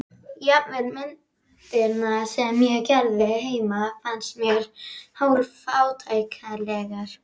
Jafnvel myndirnar sem ég gerði heima finnst mér hálf-fátæklegar.